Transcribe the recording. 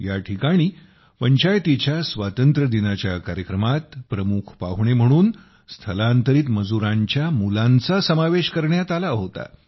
या ठिकाणी पंचायतीच्या स्वातंत्र्यदिनाच्या कार्यक्रमात प्रमुख पाहुणे म्हणून स्थलांतरित मजुरांच्या मुलांचा समावेश करण्यात आला होता